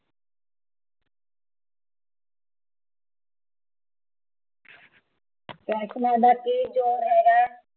ਫੈਸ਼ਨਾ ਦਾ ਕੀ ਜ਼ੋਰ ਹੈਗਾ ਆ